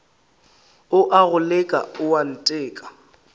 o a go leka oanteka